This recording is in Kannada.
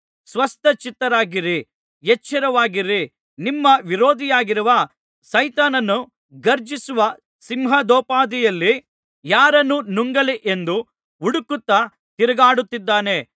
ಸ್ವಸ್ಥಚಿತ್ತರಾಗಿರಿ ಎಚ್ಚರವಾಗಿರಿ ನಿಮ್ಮ ವಿರೋಧಿಯಾಗಿರುವ ಸೈತಾನನು ಘರ್ಜಿಸುವ ಸಿಂಹದೋಪಾದಿಯಲ್ಲಿ ಯಾರನ್ನು ನುಂಗಲಿ ಎಂದು ಹುಡುಕುತ್ತಾ ತಿರುಗಾಡುತ್ತಿದ್ದಾನೆ